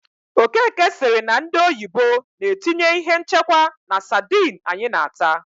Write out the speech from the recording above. Okeke sịrị na ndị oyibo na-etinye ihe nchekwa na sadịn anyị na- ata.